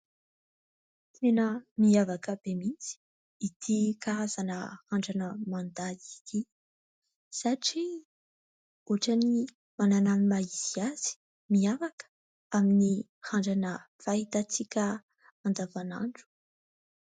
Tena mihavaka be mihitsy ity karazana randrana mandady ity satria ohatra ny manana ny maha izy azy mihavaka amin'ny randrana fahitantsika andavanandro.